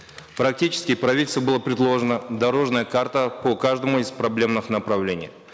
практически правительству была предложена дорожная карта по каждому из проблемных направлений